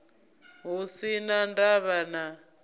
hu si na ndavha na